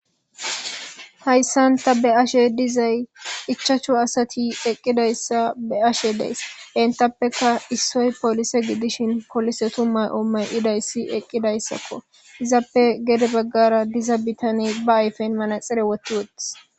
hayssanta be ashe dizay ichachu asati eqqidayssa be ashe dees entappeka issoy poolise gidishin kolisetu may7o may idayssi eqqidayssakko izappe gede baggara diza bitane ba ayfen manaxere wotti wottis